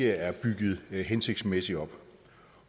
er bygget hensigtsmæssigt op